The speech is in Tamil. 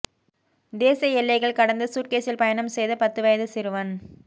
தேச எல்லைகள் கடந்து சூட்கேஸில் பயணம் செய்த பத்து வயது சிறுவன்